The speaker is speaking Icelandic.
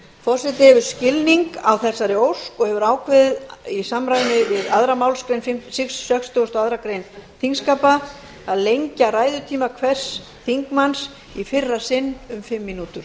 forseti hefur skilning á þessari ósk og hefur ákveðið í samræmi við aðra málsgrein sextugustu og aðra grein þingskapa að lengja ræðutíma hvers þingmanns í fyrra sinn um fimm mínútur